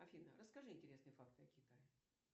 афина расскажи интересные факты о китае